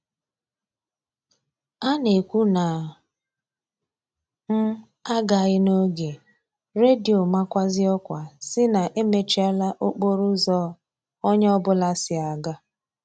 A na-ekwu na m a gaghị n'oge, redio makwazie ọkwa sị na emechiela okporo ụzọ onye ọ bụla si aga